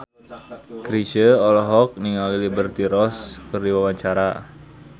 Chrisye olohok ningali Liberty Ross keur diwawancara